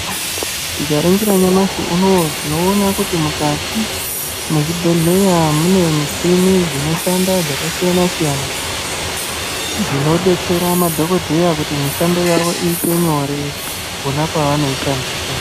Tikaringira nyamashi unowu, tinoona kuti mukati mwezvibhedhleya, mune michhini, dzinoshanda dzakasiyana-siyana, dzinodetsera madhokodheya kuti mishando yavo iite nyore, pona pevanoishandisa.